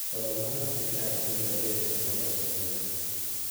Twathomaga nake kĩrathi kĩmwe na nĩendete mathomo mũno.